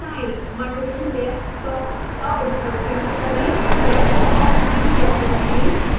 multiple desktops का उपयोग कैसे करें